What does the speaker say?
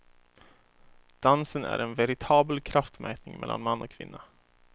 Dansen är en veritabel kraftmätning mellan man och kvinna.